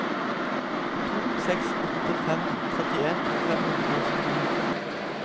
to seks åtte fem trettien fem hundre og syttini